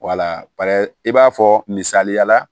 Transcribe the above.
Wala i b'a fɔ misaliya la